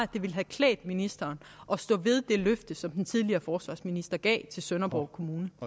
det ville have klædt ministeren at stå ved det løfte som den tidligere forsvarsminister gav til sønderborg kommune